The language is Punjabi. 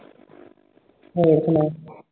ਹੋਰ ਸੁਣਾ